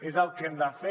és el que hem de fer